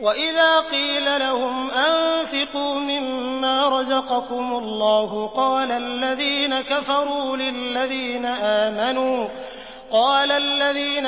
وَإِذَا قِيلَ لَهُمْ أَنفِقُوا مِمَّا رَزَقَكُمُ اللَّهُ قَالَ الَّذِينَ